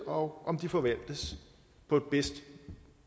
og om de forvaltes på bedst